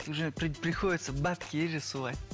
уже приходится бабки есть же солай